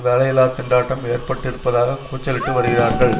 வேலையில்லாத்திண்டாட்டம் ஏற்பட்டிருப்பதாக கூச்சலிட்டு வருகிறார்கள்